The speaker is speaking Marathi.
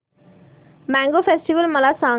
मॅंगो फेस्टिवल मला सांग